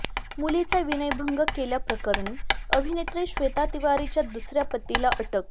मुलीचा विनयभंग केल्याप्रकरणी अभिनेत्री श्वेता तिवारीच्या दुसऱ्या पतीला अटक